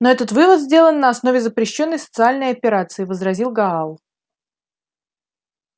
но этот вывод сделан на основе запрещённой социальной операции возразил гаал